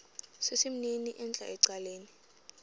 sesimnini entla ecaleni